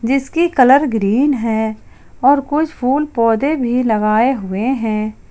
जिसकी colour green है और कुछ फूल पौधे भी लगाए हुए हैं।